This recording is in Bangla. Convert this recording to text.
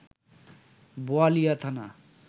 বোয়ালিয়া থানা